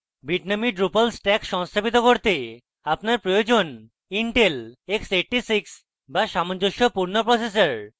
bitnami drupal stack সংস্থাপিত করতে আপনার প্রয়োজন: intel x86 to সামঞ্জস্যপূর্ণ প্রসেসর